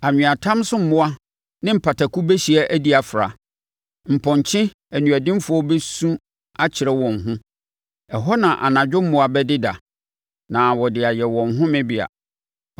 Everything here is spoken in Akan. Anweatam so mmoa ne mpataku bɛhyia adi afra, mpɔnkye aniɔdenfoɔ bɛsu akyerɛ wɔn ho; ɛhɔ na anadwo mmoa bɛdeda na wɔde ayɛ wɔn homebea.